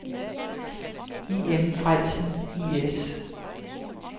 I. M. Frellsen I/S